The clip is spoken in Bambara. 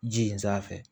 Ji in sanfɛ